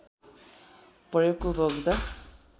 प्रयोगको उपभोक्ता